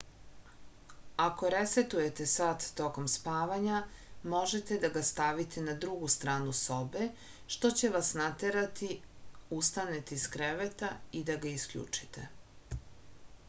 ako resetujete sat tokom spavanja možete da ga stavite na drugu stranu sobe što će vas naterati ustanete iz kreveta i da ga isključite